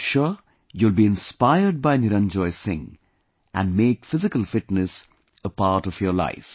I am sure you will be inspired by Niranjoy Singh and make physical fitness a part of your life